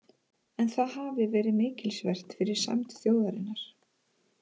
En það hafi verið mikilsvert fyrir sæmd þjóðarinnar.